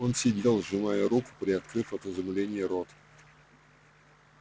он сидел сжимая её руку приоткрыв от изумления рот